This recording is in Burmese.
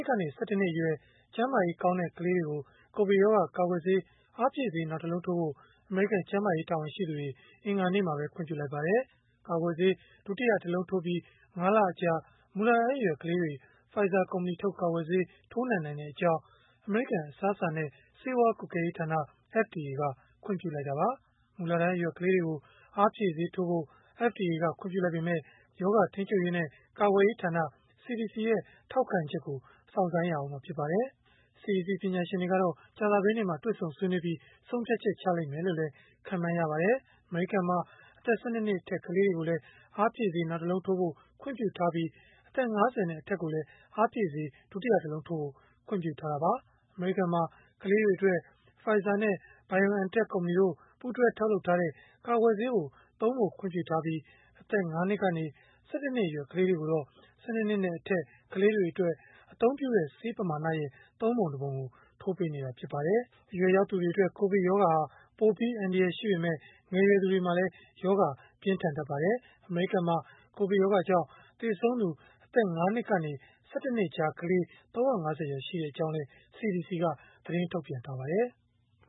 စ်ကနေ ၁၁ နှစ်အရွယ် ကျန်းမာရေး ကောင်းတဲ့ ကလေးငယ်တွေကို ကိုဗစ်ရောဂါ ကာကွယ်ဆေး အားဖြည့်ဆေး နောက်တလုံးထိုးဖို့ အမေရိကန် ကျန်းမာရေး တာဝန်ရှိသူတွေက အင်္ဂါနေ့မှာပဲ ခွင့်ပြုလိုက်ပါတယ်။ ကာကွယ်ဆေး ဒုတိယတလုံးထိုးပြီး ၅ လအကြာ မူလတန်းအရွယ် ကလေးတွေ Pfizer ကုမ္ပဏီထုတ် ကာကွယ်ဆေး ထိုးနှံနိုင်ကြောင်း အမေရိကန် အစားအစာနဲ့ ဆေးဝါး ကွပ်ကဲရေးဌာန (FDA) က ခွင့်ပြုလိုက်တာပါ။ မူလတန်းအရွယ် ကလေးတွေကို အားဖြည့်ဆေးထိုးဖို့ FDA က ခွင့်ပြုလိုက်ပေမဲ့၊ ရောဂါထိန်းချုပ်ရေးနဲ့ ကာကွယ်ရေးဌာန (CDC) ရဲ့ ထောက်ခံချက်ကို စောင့်ဆိုင်းရဦးမှာ ဖြစ်ပါတယ်။ CDC က ပညာရှင်တွေ ကြာသပတေးနေ့မှာ တွေ့ဆုံဆွေးနွေးပြီး ဆုံးဖြတ်ချက် ချမယ်လို့လည်း ခန့်မှန်းရပါတယ်။ အမေရိကန်မှာ အသက် ၁၂ နှစ်အထက် ကလေးတွေကိုလည်း အားဖြည့်ဆေး နောက်တလုံးထိုးဖို့ ခွင့်ပြုထားပြီး၊ အသက် ၅၀ နဲ့ အထက်ကိုလည်း အားဖြည့်ဆေး ဒုတိယတလုံးထိုးဖို့ ခွင့်ပြုထားတာပါ။ အမေရိကန်မှာ ကလေးတွေအတွက် Pfizer နဲ့ BioNTech ကုမ္ပဏီတို့ ပူးတွဲထုတ်လုပ်တဲ့ ကာကွယ်ဆေးကိုသုံးဖို့ ခွင့်ပြုထားပြီး၊ အသက် ၅ နှစ်ကနေ ၁၁ နှစ်အရွယ် ကလေးတွေကိုတော့ ၁၂ နှစ်နဲ့အထက် ကလေးတွေအတွက် အသုံးပြုတဲ့ ဆေးပမာဏရဲ့ ၃ ပုံ ၁ ပုံကို ထိုးပေးနေတာ ဖြစ်ပါတယ်။ အရွယ်ရောက်သူတွေအတွက် ကိုဗစ်ရောဂါဟာ ပိုပြီး အန္တရာယ်ရှိပေမဲ့ ငယ်ရွယ်သူတွေမှာလည်း ရောဂါပြင်းထန်တတ်ပါတယ်။ အမေရိကန်မှာ ကိုဗစ်ကြောင့် သေဆုံးသူ အသက် ၅ နှစ်ကနေ ၁၁ နှစ်ကြား ကလေး ၃၅၀ ကျော် ရှိကြောင်းလည်း CDC က သတင်းထုတ်ပြန်ထားပါတယ်။